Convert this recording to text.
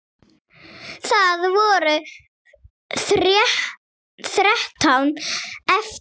Það voru þrettán eftir!